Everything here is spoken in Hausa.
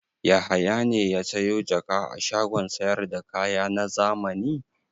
Yahaya ne ya sayo jaka a shagon sayar da kaya na zamani?